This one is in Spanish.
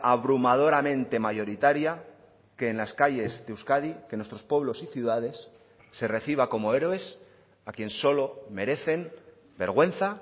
abrumadoramente mayoritaria que en las calles de euskadi que en nuestros pueblos y ciudades se reciba como héroes a quien solo merecen vergüenza